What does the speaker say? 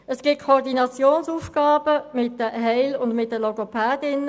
Es gibt Koordinationsaufgaben zwischen Lehrpersonen, Heilpädagogen und Logopädinnen;